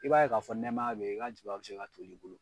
I b'a ye k'a fɔ nɛmaya be ye, i ka jaba bɛ se ka tol'i bolo.